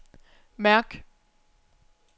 mærk